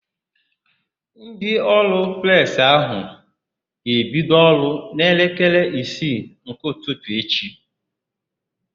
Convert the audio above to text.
Ndị ụlọọrụ Presị áhụ̀ ga-ebido ọrụ n'elekere isii nke ụtụtụ echi.